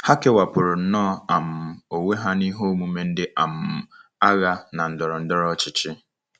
Ha kewapụrụ nnọọ um onwe ha n'ihe omume ndị um agha na ndọrọ ndọrọ ọchịchị.